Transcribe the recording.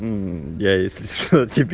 мм я если что тебе